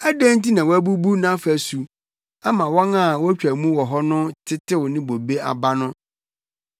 Adɛn nti na woabubu nʼafasu ama wɔn a wotwa mu wɔ hɔ no tetew ne bobe aba no?